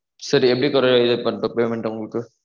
சரி எப்படி payment உங்களுக்கு